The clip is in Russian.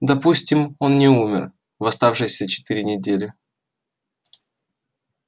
допустим он не умер в оставшиеся четыре недели